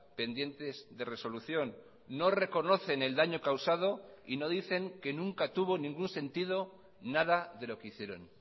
pendientes de resolución no reconocen el daño causado y no dicen que nunca tuvo ningún sentido nada de lo que hicieron